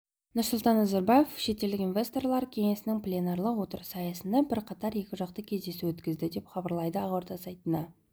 нұрсұлтан назарбаев шетелдік инвесторлар кеңесінің пленарлық отырысы аясында бірқатар екіжақты кездесу өткізді деп хабарлайды ақорда сайтына